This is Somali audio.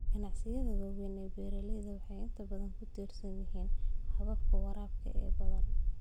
Ganacsiyada waaweyn ee beeralayda waxay inta badan ku tiirsan yihiin hababka waraabka ee badan.